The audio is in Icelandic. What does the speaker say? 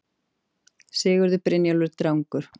Sigurður Brynjólfsson Drangur